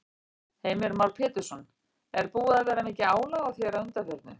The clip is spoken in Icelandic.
Heimir Már Pétursson: Er búið að vera mikið álag á þér að undanförnu?